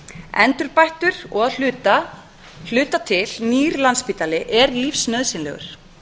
endurbættur og að hluta til nýr landspítali er lífsnauðsynlegur